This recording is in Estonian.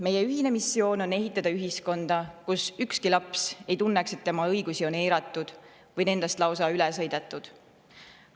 Meie ühine missioon on ehitada üles ühiskonda, kus ükski laps ei tunneks, et tema õigusi on eiratud või nendest lausa üle sõidetud.